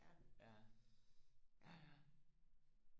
ja ja ja